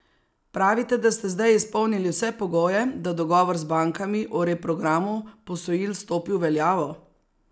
Pravite, da ste zdaj izpolnili vse pogoje, da dogovor z bankami o reprogramu posojil stopi v veljavo?